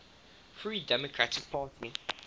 free democratic party